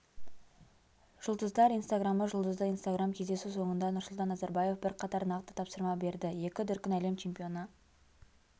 жұлдыздар инстаграмы жұлдызды инстаграм кездесу соңында нұрсұлтан назарбаев бірқатар нақты тапсырма берді екі дүркін әлем чемпионы